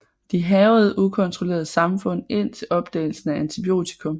De hærgede ukontrolleret samfund indtil opdagelsen af antibiotikum